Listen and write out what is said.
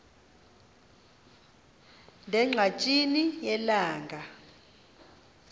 ne ngqatsini yelanga